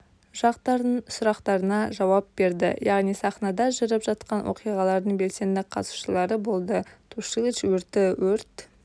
жақтардың сұрақтарына жауап берді яғни сахнада жүріп жатқан оқиғалардың белсенді қатысушылары болды тушилыч өрті өрт